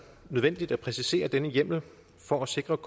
nødvendigt at præcisere denne hjemmel for at sikre